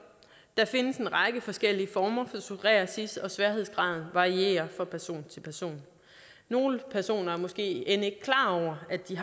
der findes en række forskellige former for psoriasis og sværhedsgraden varierer fra person til person nogle personer er måske end ikke klar over at de